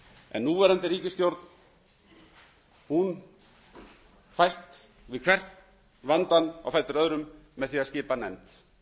en núverandi ríkisstjórn fæst við hvern vandann á fætur öðrum með því að skipa nefnd